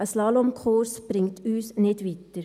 Ein Slalomkurs bringt uns nicht weiter.